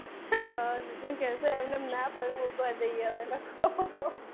હા જીજુ કહેશે એમનેમ ના પગ મુકવા દઈએ અમે લોકો